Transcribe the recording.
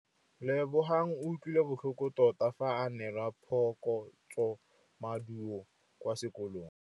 Lebogang o utlwile botlhoko tota fa a neelwa phokotsômaduô kwa sekolong.